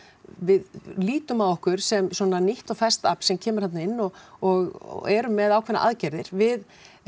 við lítum á okkur sem nýtt og ferskt afl sem kemur þarna inn og og erum með ákveðnar aðgerðir við